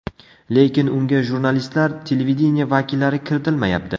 Lekin unga jurnalistlar, televideniye vakillari kiritilmayapti.